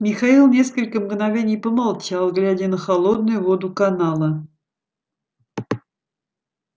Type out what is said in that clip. михаил несколько мгновений помолчал глядя на холодную воду канала